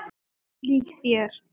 Ólíkt þér.